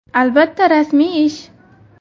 Albatta, rasmiy ish.